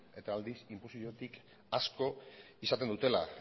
eta aldiz inposoziotik asko izaten dutela